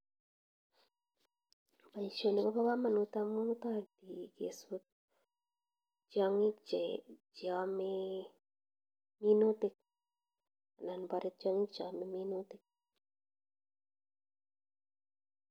Baishonik koba kamanut amuu kesut tiangik che amee minutik anan bare tiangik che amee minutik